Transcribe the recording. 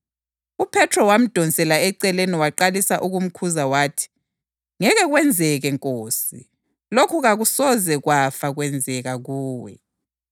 UJesu waphendula wathi kuPhethro, “Suka emva kwami Sathane! Uyisikhubekiso kimi; engqondweni yakho kawulazo izinto zikaNkulunkulu kodwa ucabanga ezabantu.”